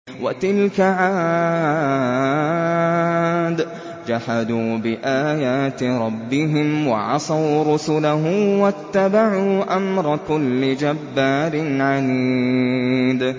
وَتِلْكَ عَادٌ ۖ جَحَدُوا بِآيَاتِ رَبِّهِمْ وَعَصَوْا رُسُلَهُ وَاتَّبَعُوا أَمْرَ كُلِّ جَبَّارٍ عَنِيدٍ